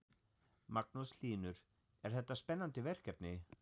Magnús Hlynur: Er þetta spennandi verkefni?